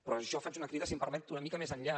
però jo faig una crida si em permet una mica més enllà